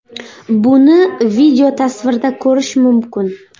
Buni videotasvirda ko‘rish mumkin.